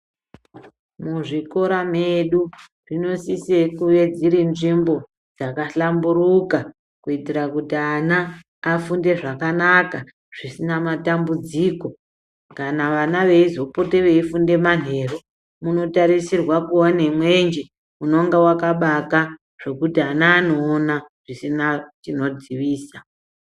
Muzvikora medu zvinosise kuve dziri nzvimbo dzakahlamburuka. Kuitira kuti ana afunde zvakanaka zvisina matambudziko. Kana vana veizopote veifunda manheru munotarisirwa kuva nemwenje unonga vakabaka zvokuti ana anoona zvisina chinodzivisa.